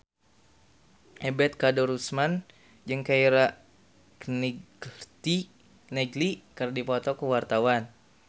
Ebet Kadarusman jeung Keira Knightley keur dipoto ku wartawan